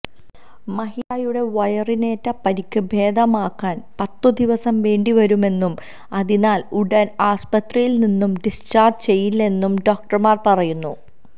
മഹിജയുടെ വയറിനേറ്റ പരിക്ക് ഭേദമാകാന് പത്തുദിവസം വേണ്ടിവരുമെന്നും അതിനാല് ഉടന് ആസ്പത്രിയില് നിന്ന് ഡിസ്ചാര്ജ് ചെയ്യില്ലെന്നും ഡോക്ടര്മാര് പറയുന്നു